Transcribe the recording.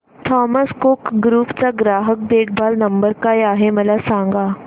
Thomas Cook group चा ग्राहक देखभाल नंबर काय आहे मला सांगा